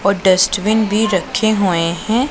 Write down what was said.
और डस्टबिन भी रखे हुए हैं।